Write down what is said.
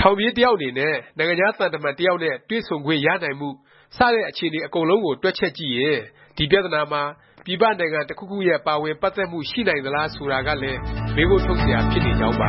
ထောင်ပြေး တစ်ယောက် အနေနဲ့ နိုင်ငံခြား သံတမန် တစ်ယောက်နဲ့ တွေ့ဆုံခွင့် ရနိုင်မှု စတဲ့ အခြေအနေ အားလုံး တွက်ချက်ကြည့်ရင် ဒီ ပြသနာမှာ ပြည်ပ နိုင်ငံ တစ်ခုခုရဲ့ ပါဝင်ပတ်သက်မှု ရှိနေနိုင်သလား ဆိုတာကလည်း မေးခွန်းထုတ်စရာ ဖြစ်နေကြောင်းပါ